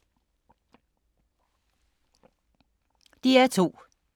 DR2